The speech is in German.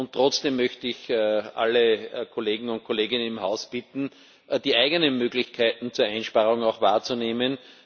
Und trotzdem möchte ich alle Kollegen und Kolleginnen im Haus bitten, die eigenen Möglichkeiten zur Einsparung auch wahrzunehmen.